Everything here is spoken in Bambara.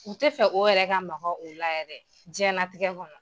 U tɛ fɛ o yɛrɛ ka maga o la yɛrɛ jiyɛnlatigɛ kɔnɔ.